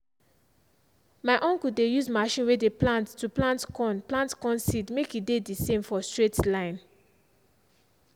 my uncle dey use machine way dey plant to plant corn plant corn seed make e dey the same for straight lines.